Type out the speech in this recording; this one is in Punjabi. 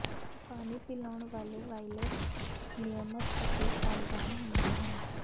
ਪਾਣੀ ਪਿਲਾਉਣ ਵਾਲੇ ਵਾਈਲੇਟਸ ਨਿਯਮਤ ਅਤੇ ਸਾਵਧਾਨ ਹੁੰਦੇ ਹਨ